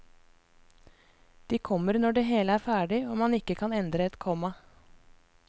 De kommer når det hele er ferdig og man ikke kan endre et komma.